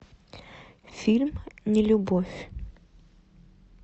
фильм нелюбовь